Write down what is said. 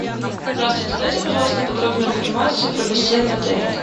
здравствуйте дайте пожалуйста подробную информацию про бассейн в отеле